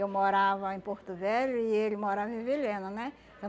Eu morava em Porto Velho e ele morava em Vilhena, né?